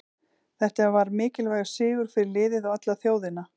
Þetta var mikilvægur sigur fyrir liðið og alla þjóðina.